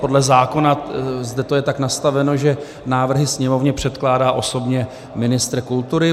Podle zákona je to zde tak nastaveno, že návrhy Sněmovně předkládá osobně ministr kultury.